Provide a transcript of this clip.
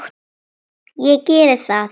Ég geri það.